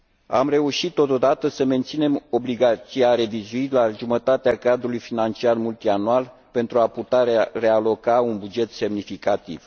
Am reușit totodată să menținem obligația revizuirii, la jumătatea cadrului financiar multianual, pentru a putea realoca un buget semnificativ.